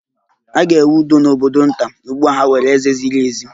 A ga-enwe udo n'obodo nta, ugbu a ha nwere eze ziri ezi